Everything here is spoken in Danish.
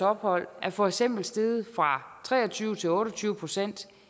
ophold er for eksempel steget fra tre og tyve til otte og tyve procent